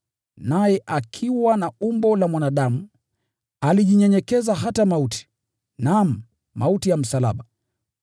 Naye akiwa na umbo la mwanadamu, alijinyenyekeza, akatii hata mauti: naam, mauti ya msalaba!